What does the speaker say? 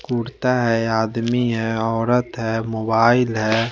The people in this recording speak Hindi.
कुर्ता हैं आदमी हैं औरत हैं मोबाइल हैं।